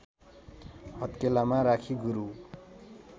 हत्केलामा राखी गुरु